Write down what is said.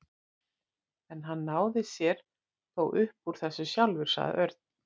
En hann náði sér þó upp úr þessu sjálfur, sagði Örn.